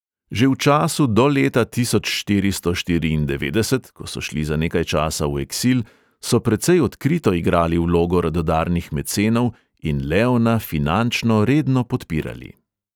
Že v času do leta tisoč štiristo štiriindevetdeset, ko so šli za nekaj časa v eksil, so precej odkrito igrali vlogo radodarnih mecenov in leona finančno redno podpirali.